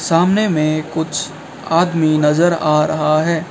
सामने में कुछ आदमी नजर आ रहा है।